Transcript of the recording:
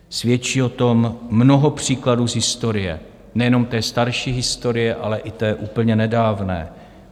Svědčí o tom mnoho příkladů z historie, nejenom té starší historie, ale i té úplně nedávné.